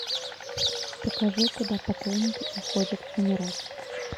покажи куда покойники уходят умирать